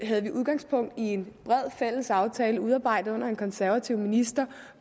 havde vi udgangspunkt i en bred fælles aftale udarbejdet under en konservativ minister